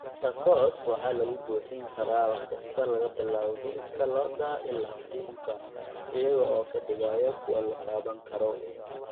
Tacos waxaa lagu buuxin karaa wax kasta laga bilaabo hilibka lo'da ilaa kalluunka, iyaga oo ka dhigaya kuwo la taaban karo.